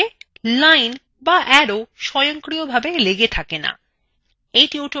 অপরপক্ষে lines এবং arrow স্বয়ন্ক্রিয়ভাবে লেগে থাকে না